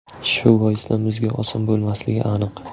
Shu boisdan bizga oson bo‘lmasligi aniq.